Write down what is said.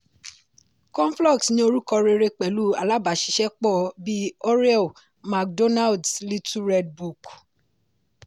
conflux ní orúkọ rere pẹ̀lú alábàáṣiṣẹ́pọ̀ bí oreo mcdonald’s little red book.